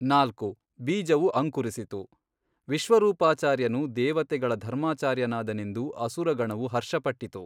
ನಾಲ್ಕು, ಬೀಜವು ಅಂಕುರಿಸಿತು ವಿಶ್ವರೂಪಾಚಾರ್ಯನು ದೇವತೆಗಳ ಧರ್ಮಾಚಾರ್ಯನಾದನೆಂದು ಅಸುರ ಗಣವು ಹರ್ಷ ಪಟ್ಟಿತು.